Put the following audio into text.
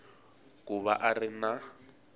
ku va a ri na